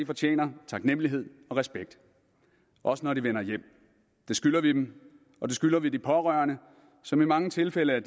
fortjener taknemlighed og respekt også når de vender hjem det skylder vi dem og det skylder vi de pårørende som i mange tilfælde er